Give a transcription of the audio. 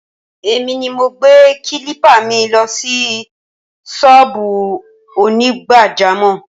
Èmi ni mo gbé kílípà mi lọ sí sọ́ọ̀bù Onigbajamọ̀